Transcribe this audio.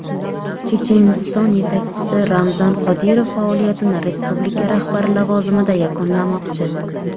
Checheniston yetakchisi Ramzan Qodirov faoliyatini respublika rahbari lavozimida yakunlamoqchi.